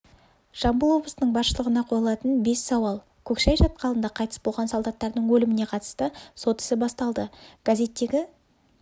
жамбыл облысының басшылығынақойылатын бес сауал көксай шатқалында қайтыс болған солдаттардың өліміне қатысты сот ісі басталды газеттегі